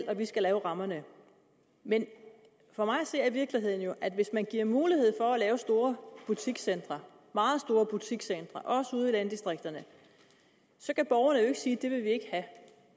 og at vi skal lave rammerne men for mig at se er virkeligheden jo at hvis man giver mulighed for at lave store butikscentre meget store butikscentre også ude i landdistrikterne så kan borgerne jo ikke sige at